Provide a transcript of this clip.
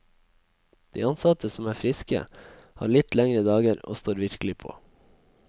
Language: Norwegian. De ansatte som er friske, har litt lengre dager, og står virkelig på.